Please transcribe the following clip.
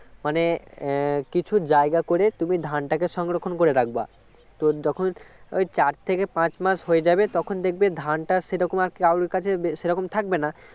মানে কিছু জায়গা করে তুমি ধানটাকে সংরক্ষণ করে রাখবে তো যখন চার থেকে পাঁচ মাস হয়ে যাবে তখন দেখবে ধানটা সেরকম কারও কাছে সে রকম থাকবে না